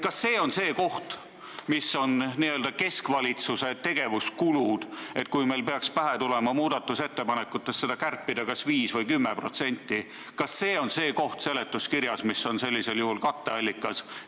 Kas see on see koht, n-ö keskvalitsuse tegevuskulud, et kui meil peaks pähe tulema muudatusettepanekute abil neid kärpida kas 5% või 10%, kas see on siis see koht seletuskirjas, mis on sellisel juhul katteallikaks?